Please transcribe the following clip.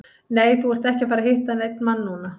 Nei, þú ert ekki að fara að hitta neinn mann núna.